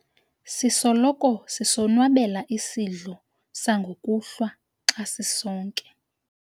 sisoloko sisonwabela isidlo sangokuhlwa xa sisonke